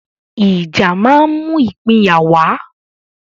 ìjà ma ń mú ìpínyà wá